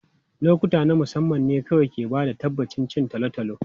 Lokuta na musamman ne kawai ke ba da tabbacin cin tolotolo.